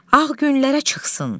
Ağ günlərə çıxsın.